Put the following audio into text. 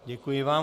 Děkuji vám.